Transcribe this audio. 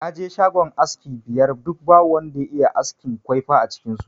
Na je shagunan aski biyar duk babu wanda ya iya askin kwaifa a cikin su